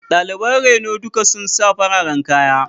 Daliban reno duka sun sa fararen kaya.